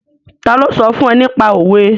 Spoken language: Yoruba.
Ta ló sọ fún ẹ nípa òwe?